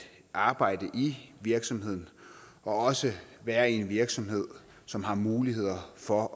arbejde i virksomheden og også være i en virksomhed som har muligheder for